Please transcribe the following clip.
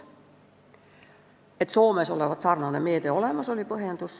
Põhjendus oli, et Soomes olevat sarnane meede olemas.